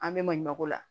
An bɛ maɲumanko la